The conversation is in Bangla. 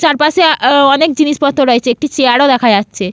চারপাশে অ্যা অনেক জিনিসপত্র রয়েছে একটি চেয়ার -ও দেখা যাচ্ছে।